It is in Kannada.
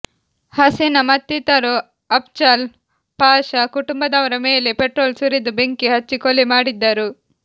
ಹಸೀನಾ ಮತ್ತಿತರರು ಅಪ್ಜಲ್ ಪಾಷಾ ಕುಟುಂಬದವರ ಮೇಲೆ ಪೆಟ್ರೋಲ್ ಸುರಿದು ಬೆಂಕಿ ಹಚ್ಚಿ ಕೊಲೆ ಮಾಡಿದ್ದರು